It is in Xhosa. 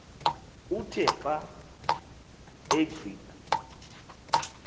uthe xa agqitha